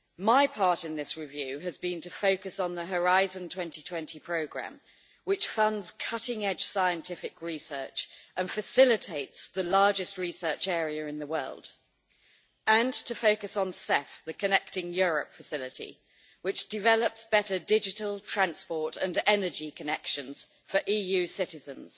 My part in this review has been to focus on the Horizon 2020 programme which funds cutting edge scientific research and facilitates the largest research area in the world, and to focus on CEF, the Connecting Europe Facility, which develops better digital, transport and energy connections for EU citizens,